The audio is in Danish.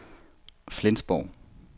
Flensborg